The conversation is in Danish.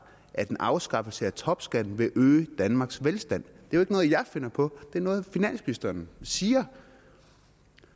at en afskaffelse af topskatten vil øge danmarks velstand det er jo ikke noget jeg finder på det er noget finansministeren siger